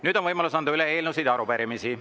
Nüüd on võimalus anda üle eelnõusid ja arupärimisi.